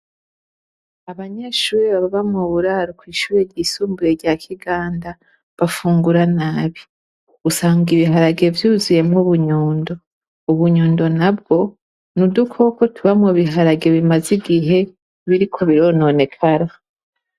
Abanyeshuri baba mu buraro kuw'ishure ryisumbure rya Kiganda, bafungura nabi usanga ibiharage vyuzuyemwo bunyundo .Ubunyundo na bwo nudukoko tuba mu biharage bimaze igihe biriko birononekara.